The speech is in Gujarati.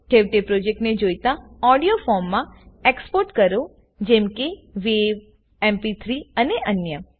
છેવટે પ્રોજેક્ટને જોઈતા ઓડીઓ ફોરમેટમાં exportએક્સ્પોટ કરોજેમ કે વાવ એમપી3 અને અન્ય